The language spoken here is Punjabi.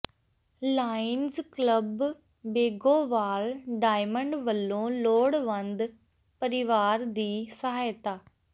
ਲਾਇਨਜ਼ ਕਲੱਬ ਬੇਗੋਵਾਲ ਡਾਇਮੰਡ ਵਲੋਂ ਲੋੜਵੰਦ ਪਰਿਵਾਰ ਦੀ ਸਹਾਇਤਾ